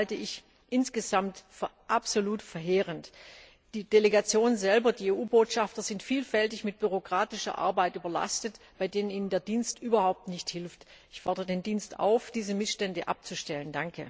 Das halte ich insgesamt für absolut verheerend! Die Delegationen selber, die EU Botschafter, sind vielfach mit bürokratischer Arbeit überlastet, bei denen ihnen der Dienst überhaupt nicht hilft. Ich fordere den Dienst auf, diese Missstände abzustellen!